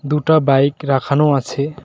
দুটা বাইক রাখানো আছে।